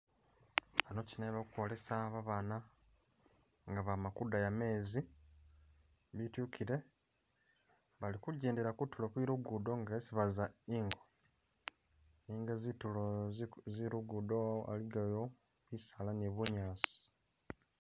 Anobalikwogesa abaana nga bamakuddaya mezi, bitikire, balikunjendera kunturo kweluguudo ngesi baza ingo, nenga zinturo zeluguudo iligayo bisaala ni bunyasi